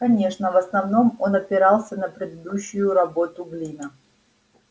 конечно в основном он опирался на предыдущую работу глина